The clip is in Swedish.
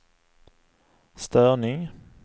störning